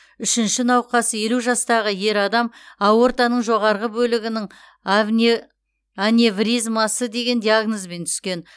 үшінші науқас елу жастағы ер адам аортаның жоғарғы бөлігінің аневризмасы деген диагнозбен түскен